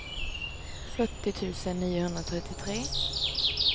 fyrtio tusen niohundratrettiotre